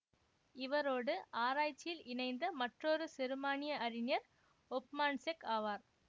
இவரோடு ஆராய்ச்சியில் இணைந்த மற்றொரு செருமானிய அறிஞர் ஒப்மான்செக் ஆவார்